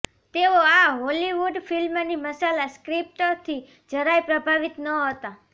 તેઓ આ હોલીવુડ ફિલ્મની મસાલા સ્ક્રિપ્ટથી જરાય પ્રભાવિત નહતા